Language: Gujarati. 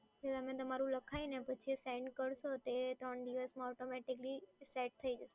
તમે તમારું લખાઈને પછી સેન્ડ કરશો તો તે ત્રણ દિવસમાં automatically સેટ